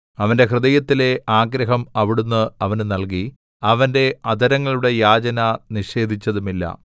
അവന്റെ ഹൃദയത്തിലെ ആഗ്രഹം അവിടുന്ന് അവന് നല്കി അവന്റെ അധരങ്ങളുടെ യാചന നിഷേധിച്ചതുമില്ല സേലാ